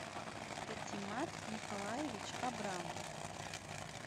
петимат николаевич абрамов